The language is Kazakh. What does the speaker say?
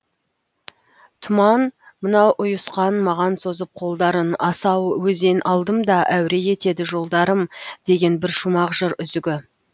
тұман мынау ұйысқан маған созып қолдарын асау өзен алдымда әуре етеді жолдарым деген бір шумақ жыр үзігі